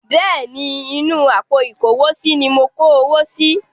Bẹ́ẹ̀ ni, inú àpò ìkówósí ní mo kó owó si.